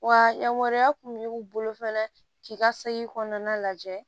Wa yamaruya kun b'u bolo k'i ka segi kɔnɔna lajɛ